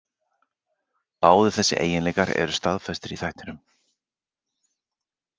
Báðir þessir eiginleikar eru staðfestir í þættinum.